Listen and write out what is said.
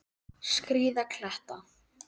Skríða kletta.